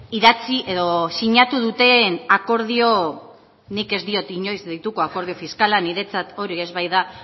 idatzi edo sinatu duten akordioa nik ez diot inoiz deituko akordio fiskala niretzat hori ez baita